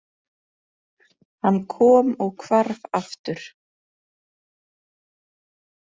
Hann kom og hvarf aftur.